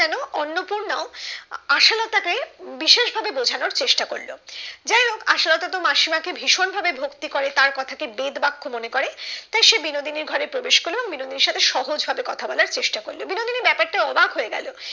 বিশেষ ভাবে বোঝানোর চেষ্টা করলো যাই হোক আশালতা তো মাসিমা কে ভীষণ ভাবে ভক্তি করে তার কথা কে বেদ বাক্য মনে করে তাই সে বিনোদিনীর ঘরে প্রবেশ করলো এবং বিনোদিনীর সাথে সহজ ভাবে কথা বলার চেস্টা করলো বিনোদিনী ব্যাপারটায় অবাক হয়ে গেলো